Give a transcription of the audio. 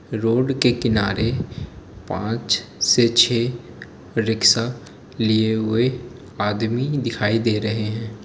Road के किनारे पाँच से छे रिक्शा लिए हुए आदमी दिखाई दे रहे है।